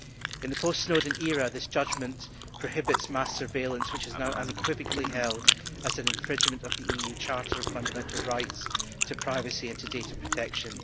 In the post Snowden era this judgment prohibits mass surveillance, which is now unequivocally held as an infringement of the EU Charter of Fundamental Rights to privacy and to data protection.